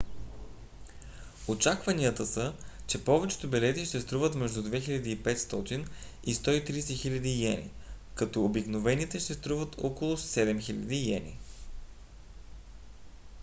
очакванията са че повечето билети ще струват между 2 500 и 130 000 йени като обикновените ще струват около 7 000 йени